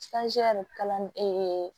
kalan